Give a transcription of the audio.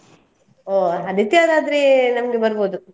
ಓಹ್ ಆದಿತ್ಯವಾದ್ರೆ ನಮಗೆ ಬರ್ಬೋದು.